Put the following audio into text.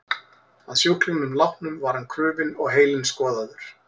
Að sjúklingnum látnum var hann krufinn og heilinn skoðaður.